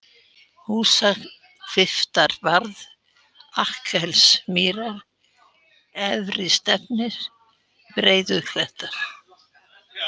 Húsahvilftarbarð, Akkelsmýrar, Efri-Stefnir, Breiðuklettar